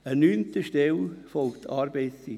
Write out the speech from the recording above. An neunter Stelle folgt die Arbeitszeit.